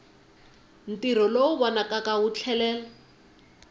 ntirho lowu vonakaka wu tlhela